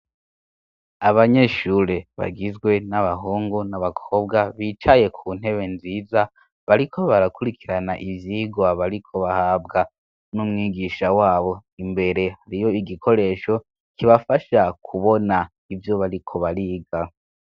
abanyeshure bagizwe n'abahungu n'abakobwa bicaye kuntebe nziza bariko barakurikirana ivyigwa bariko bahabwa n'umwigisha wabo imbere hariyo igikoresho kibafasha kubona ivyo bariko bariga